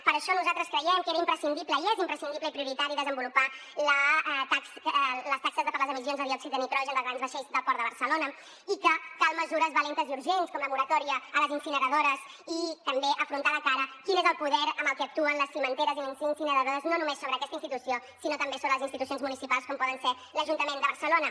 per això nosaltres creiem que era imprescindible i és imprescindible i prioritari desenvolupar les taxes per les emissions de diòxid de nitrogen de grans vaixells del port de barcelona i que calen mesures valentes i urgents com la moratòria a les incineradores i també afrontar de cara quin és el poder amb el que actuen les cimenteres i incineradores no només sobre aquesta institució sinó també sobre les institucions municipals com pot ser l’ajuntament de barcelona